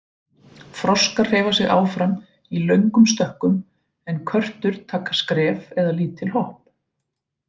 Froskar hreyfa sig áfram í löngum stökkum en körtur taka skref eða lítil hopp.